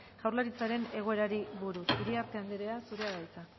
jaurlaritzaren egoerari buruz iriarte anderea zurea da hitza